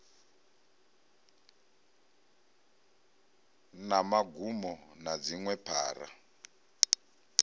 na magumo na dziṅwe phara